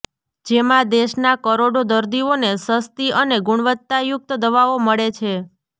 જેમાં દેશના કરોડો દર્દીઓને સસ્તી અને ગુણવત્તાયુક્ત દવાઓ મળે છે